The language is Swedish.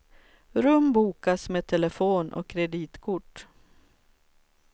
Rum bokas med telefon och kreditkort.